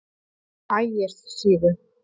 Ægissíðu